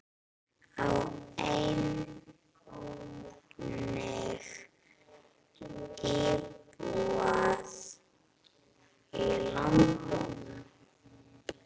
Á einnig íbúð í London.